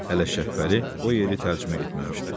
Hələ Şəbəli o yeri tərcümə etməmişdi.